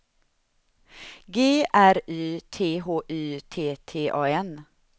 G R Y T H Y T T A N